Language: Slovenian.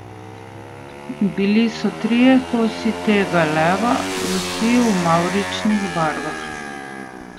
Bili so trije kosi tega leva, vsi v mavričnih barvah.